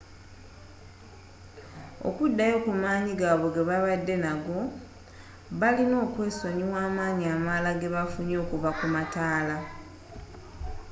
okuddayo ku maanyi gaabwe gebabadde nago baalina okwesonyiwa amaanyi amalala gebafunye okuva ku mataala